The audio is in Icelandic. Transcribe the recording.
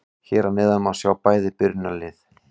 Hér að neðan má sjá bæði byrjunarlið.